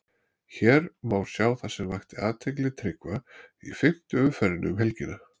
Hér má sjá það sem vakti athygli Tryggva í fimmtu umferðinni um helgina.